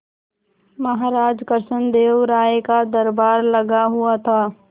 महाराज कृष्णदेव राय का दरबार लगा हुआ था